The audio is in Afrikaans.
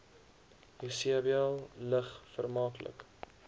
jesebel lig vermaaklik